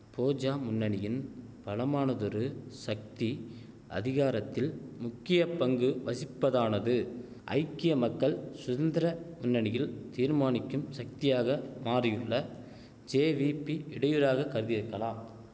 போஜா முன்னணியின் பலமானதொரு சக்தி அதிகாரத்தில் முக்கியப்பங்கு வசிப்பதானது ஐக்கிய மக்கள் சுதந்திர முன்னணியில் தீர்மானிக்கும் சக்தியாக மாறியுள்ள ஜேவீபி இடையூறாக கருதியிருக்கலாம்